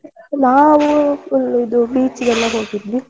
ನಾವು ಇಲ್ಲಿ ಇದು beach ಗೆಲ್ಲ ಹೋಗಿದ್ವಿ.